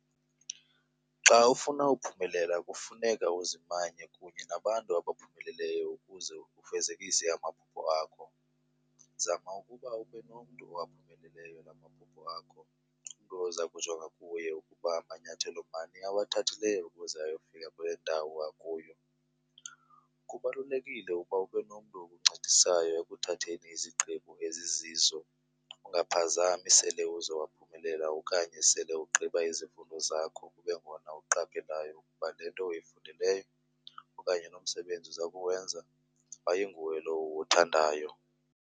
Xa ufuna uphumelela kufuneka uzimanye kunye nabantu abaphumelelayo ukuze ufezekise amaphupha akho. Zama uba ubenomntu owaphumeleleyo lamaphupha akho ,umntu ozakujonga kuye uba manyathelo mani awathathileyo ukuze ayofika kulendawo akuyo. Kubalulekile uba ubenomntu okuncedisayo ekuthatheni izigqibo ezizizo ungaphazami sele uzowaphumelela okanye xa sele ugqiba izifundo zakho kubengona uqaphelayo ukuba lento uyifundeleyo okanye lo msebenzi uzakuwenza ayinguwo lo uwuthandayo.